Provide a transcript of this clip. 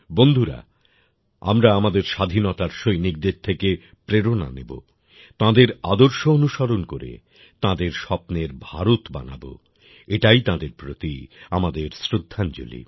বন্ধুরা আমরা আমাদের স্বাধীনতার সৈনিকদের থেকে প্রেরণা নেব তাঁদের আদর্শ অনুসরণ করে তাঁদের স্বপ্নের ভারত বানাব এটাই তাঁদের প্রতি আমাদের শ্রদ্ধাঞ্জলি